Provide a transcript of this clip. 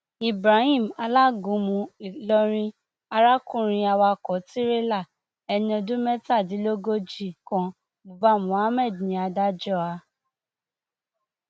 ibrahim alágúnmu ìlọrin arákùnrin awakọ tirẹlá ẹni ọdún mẹtàdínlógójì kan buba mohammed ní adájọ a